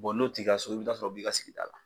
n'o tigilasugu i bɛ taa sɔrɔ o b'i ka sigida la.